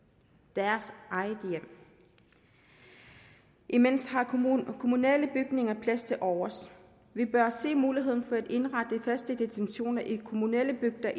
deres eget hjem imens har kommunale bygninger plads tilovers vi bør se muligheden for at indrette faste detentioner i kommunale bygninger